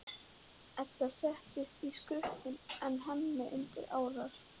Edda sest í skutinn en Hemmi undir árar.